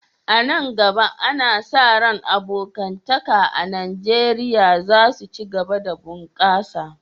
A nan gaba, ana sa ran abokantaka a Najeriya za su ci gaba da bunƙasa.